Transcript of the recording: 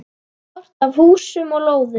Kort af húsum og lóðum.